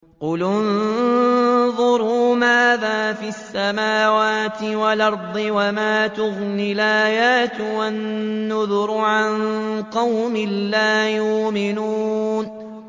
قُلِ انظُرُوا مَاذَا فِي السَّمَاوَاتِ وَالْأَرْضِ ۚ وَمَا تُغْنِي الْآيَاتُ وَالنُّذُرُ عَن قَوْمٍ لَّا يُؤْمِنُونَ